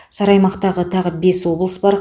сары аймақтағы тағы бес облыс бар